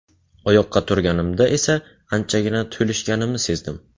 Oyoqqa turganimda esa anchagina to‘lishganimni sezdim.